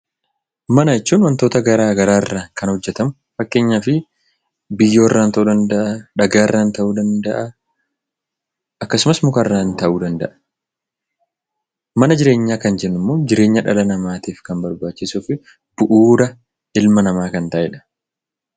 Mana jechuun wantoota garaa garaarraa kan hojjetamu. Fakkeenyaaf biyyoorraa ta'uu danda'a, dhagaarraan ta'uu danda'a akkasumas mukarraan ta'uu danda'a. Mana jireenyaa kan jennu immoo jireenya dhala namaatiif kan barbaachisuu fi bu'uura ilma namaa kan ta'edha.